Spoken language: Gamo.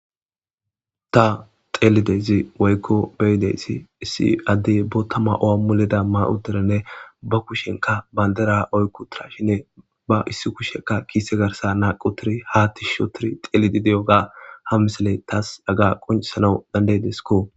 ta xeelidezi woykko beyideyssi issi addey bootama owammuleda ma7uderenne ba kushenka bayndera oykkutira shinne ba issi kushekka kiise garsa naaqutiri haa ti shotiri xeelidi de7oga ha misaley taas aga qoncisana dandaydeskko